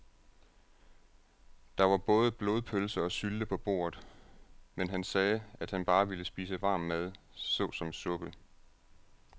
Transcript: Der var både blodpølse og sylte på bordet, men han sagde, at han bare ville spise varm mad såsom suppe.